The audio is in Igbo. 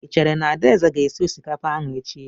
I chere na Adaeze ga-esi osikapa ahụ echi?